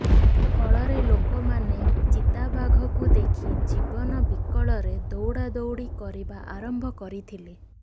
ଫଳରେ ଲୋକମାନେ ଚିତାବାଘକୁ ଦେଖି ଜୀବନ ବିକଳରେ ଦୌଡାଦୌଡି କରିବା ଆରମ୍ଭ କରିଥିଲେ